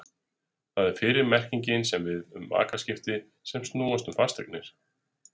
Það er fyrri merkingin sem á við um makaskipti sem snúast um fasteignir.